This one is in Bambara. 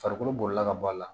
Farikolo bolila ka bɔ a la